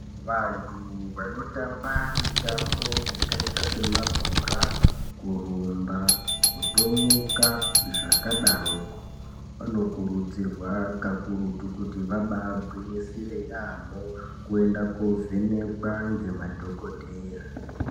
Vantu vanotamba mitambo yakaita semabhora, kurumba, kutomuka, zvakadaroko vanokurudzirwa kakurutu kuti vabaagwinyisire yaamho kuenda koovhenekwa ngemadhogodheya.